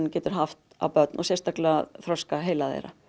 geta haft á börn og sérstaklega þroska heila þeirra